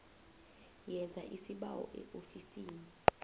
yenza isibawo eofisini